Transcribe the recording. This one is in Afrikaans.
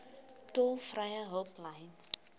tolvrye hulplyn